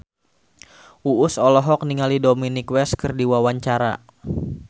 Uus olohok ningali Dominic West keur diwawancara